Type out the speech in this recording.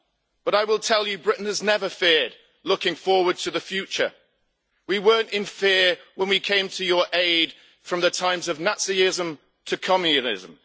But I will tell you that Britain has never feared looking forward to the future. We weren't in fear when we came to your aid from the times of Nazism to communism.